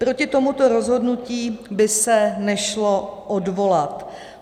Proti tomuto rozhodnutí by se nešlo odvolat.